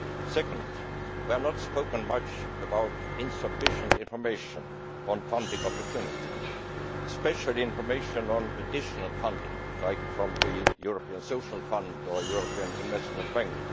Secondly, we have not spoken much about insufficient information on funding opportunities, especially information on additional funding, for example from the European Social Fund or European Investment Bank.